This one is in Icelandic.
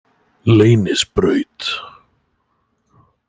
Leynisbraut